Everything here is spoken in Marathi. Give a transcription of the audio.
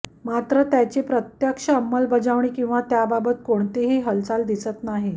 मात्र त्याची प्रत्यक्ष अंमलबजावणी किंवा त्याबाबत कोणतीही हालचाल दिसत नाही